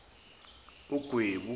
ugwebu